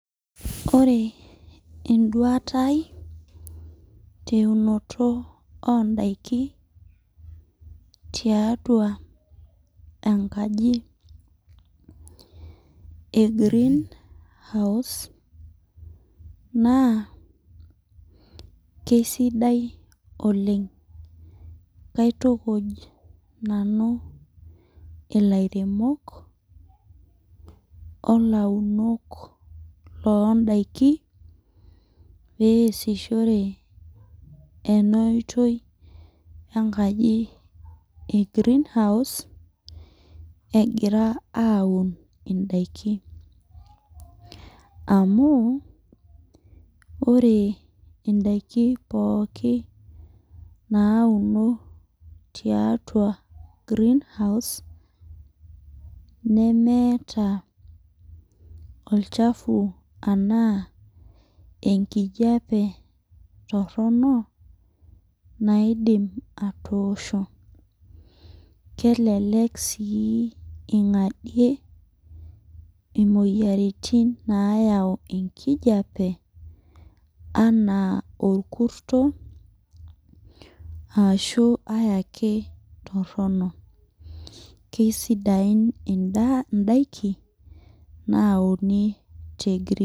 Ore eduata ai teunoto odaiki tiatua enkaji e greenhouse, naa kesidai oleng. Kaitukuj nanu ilairemok olaunok loodaiki, peesishore enoitoi enkaji e greenhouse, egira aun idaiki. Amu, ore idaiki pooki nauno tiatua greenhouse, nemeeta olchafu anaa enkijape torrono, naidim atoosho. Kelelek si ing'adie imoyiaritin nayau enkijape, anaa orkurto, ashu ai ake torrono. Kesidain idaiki, nauni te greenhouse.